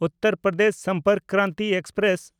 Uttar Pradesh Sampark Kranti express